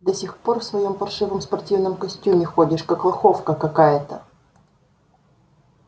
до сих пор в своём паршивом спортивном костюме ходишь как лоховка какая-то